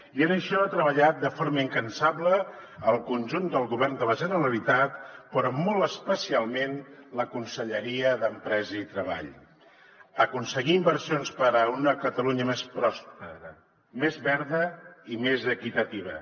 i en això ha treballat de forma incansable el conjunt del govern de la generalitat però molt especialment la conselleria d’empresa i treball aconseguir inversions per a una catalunya més pròspera més verda i més equitativa